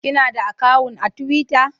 Kina da akawun a tiwita?